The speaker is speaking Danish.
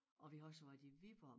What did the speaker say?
Og vi har også været i Viborg